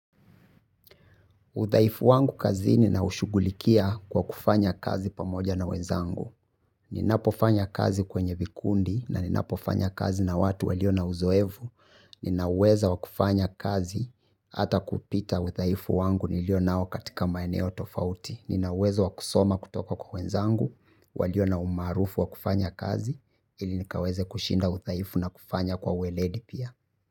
Udhaifu wangu kazini naushugulikia kwa kufanya kazi pamoja na wenzangu. Ninapofanya kazi kwenye vikundi na ninapofanya kazi na watu walio na uzoefu. Nina uweza wa kufanya kazi hata kupita udhaifu wangu nilio nao katika maeneo tofauti. Nina uwezo wa kusoma kutoka kwa wenzangu, walio na umaarufu wa kufanya kazi, ili nikaweze kushinda udhaifu na kufanya kwa weledi pia.